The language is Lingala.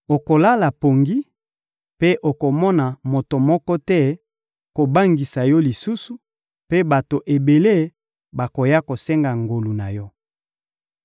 okolala pongi, mpe okomona moto moko te kobangisa yo lisusu, mpe bato ebele bakoya kosenga ngolu na yo.